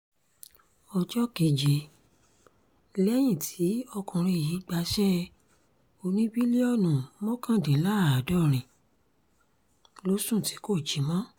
ọjọ́ keje lẹ́yìn tí ọkùnrin yìí gbaṣẹ́ oníbílíọ̀nù mọ́kàndínláàádọ́rin ló sùn tí kò jí mọ́